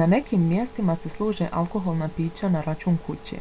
na nekim mjestima se služe alkoholna pića na račun kuće.